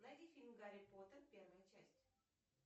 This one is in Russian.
найди фильм гарри поттер первая часть